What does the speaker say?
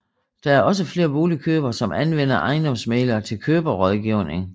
Der er også flere boligkøbere som anvender ejendomsmæglere til køberrådgivning